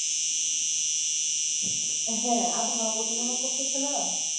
হ্যাঁ আবহাওয়া ওঠা নামা করতাছে না।